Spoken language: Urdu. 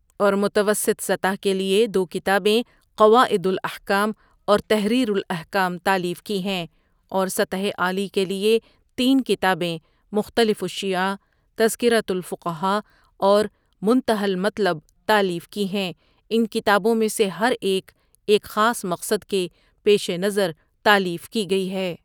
اور متوسط سطح کے لیے دوکتابیں قواعد الاحکام اور تحریر الاحکام تالیف کی ہیں اور سطح عالی کے لیے تین کتابیں مختلف الشیعہ ، تذکرة الفقہا اور منتہی المطلب تالیف کی ہیں ان کتابوں میں سے ہر ایک، ایک خاص مقصد کے پیش نظر تالیف کی گئی ہے ۔